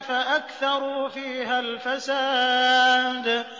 فَأَكْثَرُوا فِيهَا الْفَسَادَ